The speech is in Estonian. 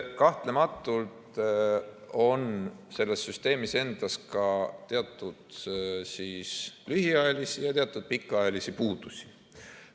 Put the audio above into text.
Kahtlematult on selles süsteemis endas ka teatud lühiajalisi ja teatud pikaajalisi puudusi.